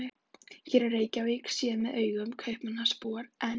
Hér er Reykjavík séð með augum Kaupmannahafnarbúans, en